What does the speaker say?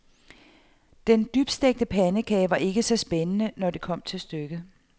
Den dybstegte pandekage var ikke så spændende, når det kom til stykket.